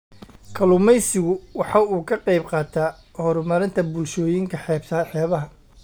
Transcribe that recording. Kalluumaysigu waxa uu ka qayb qaataa horumarinta bulshooyinka xeebaha.